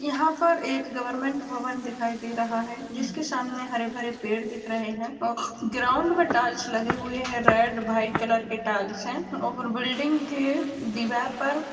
यहाँ पर एक गवर्नमेंट भवन दिखाई दे रहा है जिसके सामने हरे भरे पेड़ दिख रहे हैं और ग्राउंड में टाइल्स लगे हुए हैं रेड वाइट कलर के टाइल्स हैं और बिल्डिंग के दीवार पर--